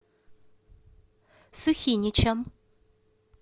сухиничам